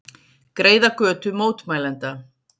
Greiða götu mótmælenda